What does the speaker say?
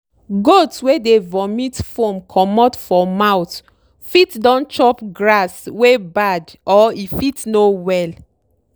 goat wey dey vomit foam comot for mouth fit don chop grass wey bad or e fit no well.